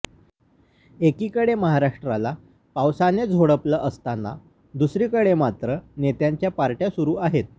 एकीकडे महाराष्ट्राला पावसाने झोडपलं असताना दुसरीकडे मात्र नेत्यांच्या पार्ट्या सुरु आहेत